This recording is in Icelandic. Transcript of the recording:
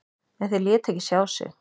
En þeir létu ekki sjá sig.